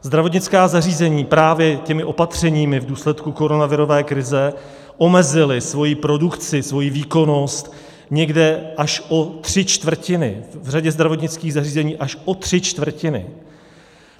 Zdravotnická zařízení právě těmi opatřeními v důsledků koronavirové krize omezila svoji produkci, svoji výkonnost, někde až o tři čtvrtiny, v řadě zdravotnických zařízení až o tři čtvrtiny.